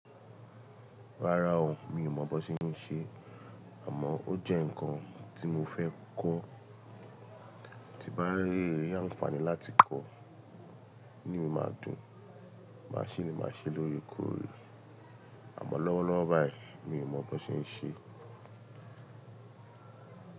Rárá o, mi ò mọ̀ bó ṣe n ṣe, àmọ́ ó jẹ́ ǹkan tí mo fẹ́ kọ́, tí bá rí àǹfààní láti kọ́, inu mi máa dùn, màá ṣè ní màá ṣé lóòrèkóòrè, àmọ́ lọ́wọ́lọ́wọ́ báyìí, mi ò mọ̀ bó ṣe ń ṣe.